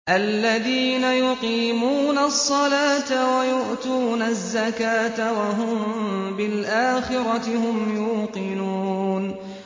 الَّذِينَ يُقِيمُونَ الصَّلَاةَ وَيُؤْتُونَ الزَّكَاةَ وَهُم بِالْآخِرَةِ هُمْ يُوقِنُونَ